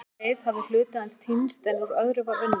Á langri leið hafði hluti hans týnst en úr öðru var unnið.